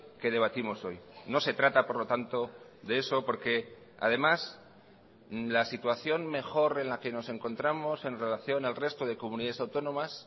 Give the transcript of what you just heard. que debatimos hoy no se trata por lo tanto de eso porque además la situación mejor en la que nos encontramos en relación al resto de comunidades autónomas